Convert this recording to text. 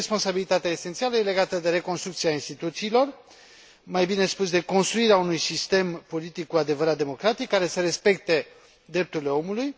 Și responsabilitatea esențială e legată de reconstrucția instituțiilor, mai bine spus de construirea unui sistem politic cu adevărat democratic, care să respecte drepturile omului.